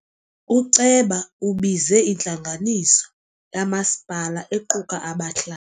Uceba ubize intlanganiso lamasipala equka abahlali.